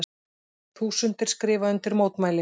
Þúsundir skrifa undir mótmæli